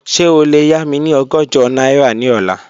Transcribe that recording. Ṣe o le ya mi ni ọgọ́jọ naira ni ọla?